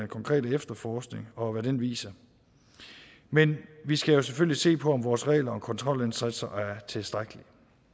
konkrete efterforskning og hvad den viser men vi skal jo selvfølgelig se på om vores regler og kontrolindsatser er tilstrækkelige